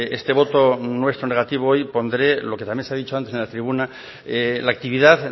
este voto nuestro negativo hoy pondré lo que también se ha dicho antes en la tribuna la actividad